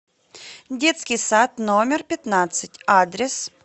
детский сад номер пятнадцать адрес